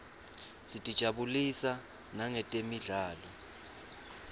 sitijabulisa nangetemidlalo